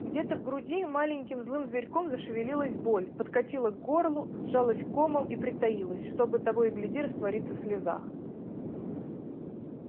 где-то в груди маленьким злым зверьком зашевелилась боль подкатила к горлу сжалась комом и притаилась чтобы того и гляди раствориться в слезах